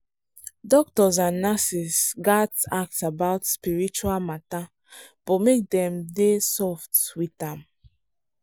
doctors and nurses gats ask about spiritual matter but make dem soft with am.